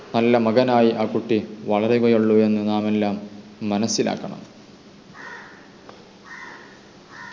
നല്ല മകനായി ആ കുട്ടി വളരുകയുള്ളു എന്ന് നാം എല്ലാം മനസ്സിലാക്കണം